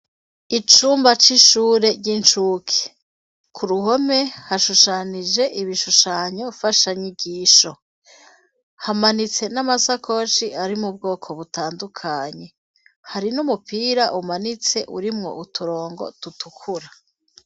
Icumba c'ishure ry'incuke, ku ruhome, hashushanije, ibishushanyo mfashanyigisho; hamanitse n'amasakoshi, ari mu bwoko butandukanye; hari n'umupira umanitse, urimwo uturongo dutukura.